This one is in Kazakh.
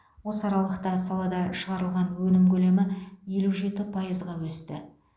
осы аралықта салада шығарылған өнім көлемі елу жеті пайызға өсті